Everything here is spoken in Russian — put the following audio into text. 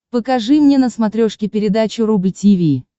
покажи мне на смотрешке передачу рубль ти ви